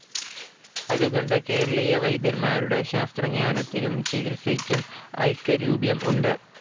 അതുകൊണ്ട് കേരളീയ വൈദ്യന്മാരുടെ ശാസ്ത്രജ്ഞാനത്തിനും ചികിത്സയ്ക്കും ഐകരൂപ്യം ഉണ്ട്.